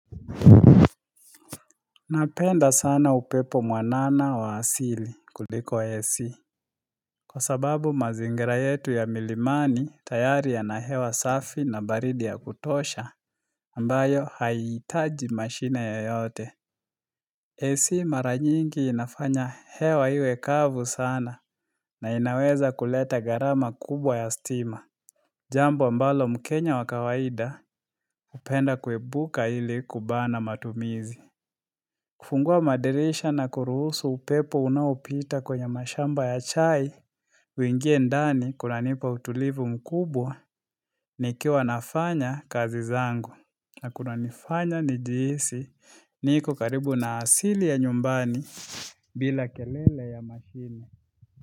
Napenda sana upepo mwanana wa asili kuliko AC Kwa sababu mazingira yetu ya milimani tayari ya na hewa safi na baridi ya kutosha ambayo haitaji mashine yo yote AC mara nyingi inafanya hewa iwe kavu sana na inaweza kuleta gharama kubwa ya stima Jambo mbalo mkenya wakawaida upenda kwebuka ili kubana matumizi kufungua madirisha na kuruhusu upepo unaopita kwenye mashamba ya chai uingie ndani kuna nipa utulivu mkubwa nikiwa wanafanya kazi zangu na kuna nifanya nijihisi niko karibu na asili ya nyumbani bila kelele ya makini.